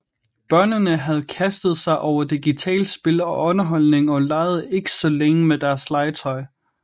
Børnene havde kastet sig over digitale spil og underholdning og legede ikke så længe med deres legetøj